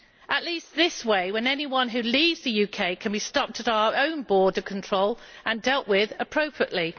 At least this way, anyone who leaves the UK can be stopped at our own border control and dealt with appropriately.